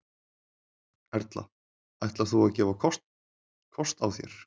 Erla: Ætlar þú að gefa kost þér?